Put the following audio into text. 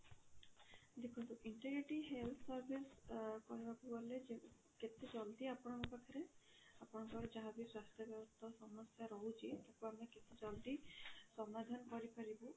ଦେଖନ୍ତୁ integrating health service ଅ କହିବାକୁ ଗଲେ କେତେ ଜଲ୍ଦି ଆପଣଙ୍କ ପାଖରେ ଆପଣଙ୍କର ଯାହା ବି ସ୍ୱାସ୍ଥ୍ୟ ବ୍ୟବସ୍ଥା ସମସ୍ୟା ରହୁଛି ବା ଆମେ କେତେ ଜଲ୍ଦି ସମାଧାନ କରି ପାରିବୁ